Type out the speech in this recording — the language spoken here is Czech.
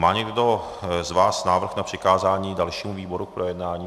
Má někdo z vás návrh na přikázání dalšímu výboru k projednání?